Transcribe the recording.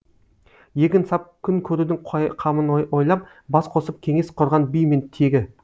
егін сап күн көрудің қамын ойлап бас қосып кеңес құрған би мен тегі